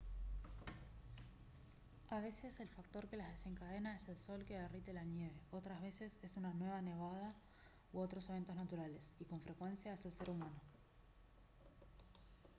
a veces el factor que las desencadena es el sol que derrite la nieve otras veces es una nueva nevada u otros eventos naturales y con frecuencia es el ser humano